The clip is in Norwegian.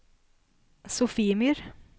Sofiemyr